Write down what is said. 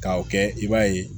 K'a o kɛ i b'a ye